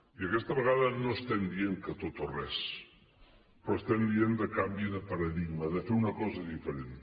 i aquesta vegada no estem dient que tot o res però estem dient canvi de paradigma de fer una cosa diferent